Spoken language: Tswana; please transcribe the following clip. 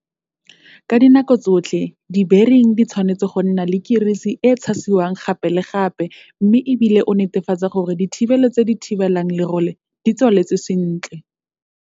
Ka dinako tsotlhe dibering di tshwanetse go nna le kirisi e e tshasiwang gape le gape mme e bile o netefatse gore dithibelo tse di thibelang lerole di tswaletswe sentle.